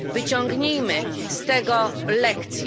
Wyciągnijmy z tego lekcję.